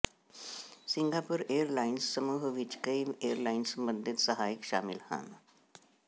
Singapore airlines ਸਮੂਹ ਵਿੱਚ ਕਈ ਏਅਰਲਾਈਨ ਸੰਬੰਧਿਤ ਸਹਾਇਕ ਸ਼ਾਮਿਲ ਹਨ